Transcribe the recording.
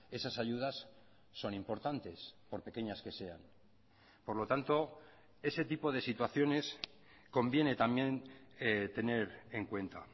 esas ayudas son importantes por pequeñas que sean por lo tanto ese tipo de situaciones conviene también tener en cuenta